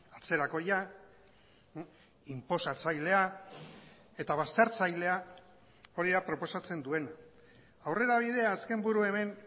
atzerakoia inposatzailea eta baztertzailea hori da proposatzen duena aurrera bidea azken buru hemen